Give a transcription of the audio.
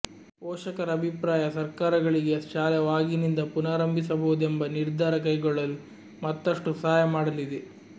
ಪೋಷಕರ ಅಭಿಪ್ರಾಯ ಸರ್ಕಾರಗಳಿಗೆ ಶಾಲೆ ವಾಗಿನಿಂದ ಪುನಾರಂಭಿಸಬಹುದೆಂಬ ನಿರ್ಧಾರ ಕೈಗೊಳ್ಳಲು ಮತ್ತಷ್ಟು ಸಹಾಯ ಮಾಡಲಿದೆ